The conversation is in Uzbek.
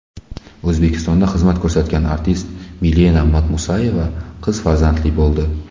O‘zbekistonda xizmat ko‘rsatgan artist Milena Madmusayeva qiz farzandli bo‘ldi.